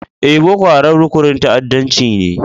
Eh, Boko Haram rukunin ta'addancci ne.